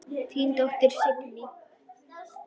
Þín dóttir, Signý.